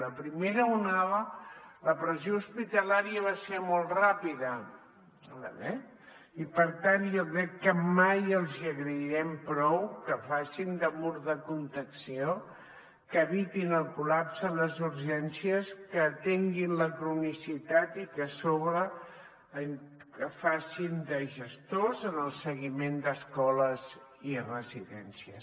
la primera onada la pressió hospitalària va ser molt ràpida eh i per tant jo crec que mai els agrairem prou que facin de mur de contenció que evitin el col·lapse a les urgències que atenguin la cronicitat i que a sobre facin de gestors en el seguiment d’escoles i residències